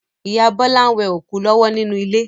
Ìyá Bọ́lá n we òkú lọ́wọ́ nínú ilé